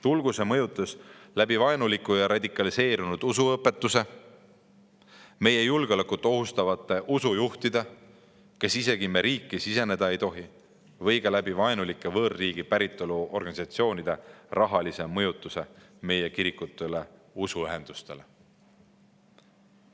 Tulgu see mõjutus läbi vaenuliku ja radikaliseerunud usuõpetuse, meie julgeolekut ohustavate usujuhtide, kes isegi meie riiki siseneda ei tohi, või ka läbi vaenulike võõrriigi päritolu organisatsioonide rahalise mõjutuse meie kirikutele ja usuühendustele.